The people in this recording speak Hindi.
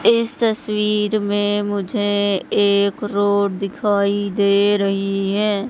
इस तस्वीर में मुझे एक रोड दिखाई दे रही है।